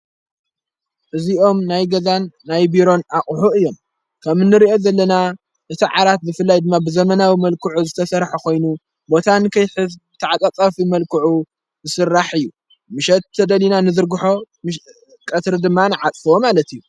እዚኦም ናይ ገዛን ናይ ቢሮን ኣቝሑዕ እዮም። ከም ንርኦ ዘለና እቲ ዓራት ብፍላይ ድማብዘመናዊ መልክዑ ዝተሠርሐ ኾይኑ ቦታን ከይተዕቐጻፊ መልክዑ ዝስራሕ እዩ ። ምሸትተደሊና ንዘርግሖ ቀትሪ ድማን ንዓጸፍዎ ማለት እዩ።